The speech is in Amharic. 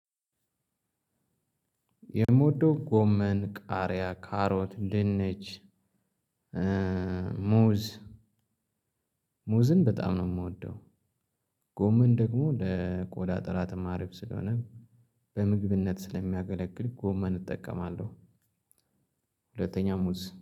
የምወደው ጎመን ቃሪያ ካሮት ድንች ሙዝ ሙዝን በጣም ነው የምወደው። ጎመን ደግሞ ለቆዳ ጥራት አሪፍ ስለሆነ በምግብነት ስለሚያገለግል ጎመን እጠቀማለሁ። ሁለተኛ ሙዝ